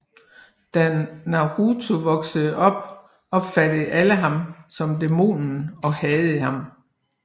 Da Naruto voksede op opfattede alle ham som dæmonen og hadede ham